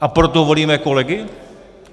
A proto volíme kolegy?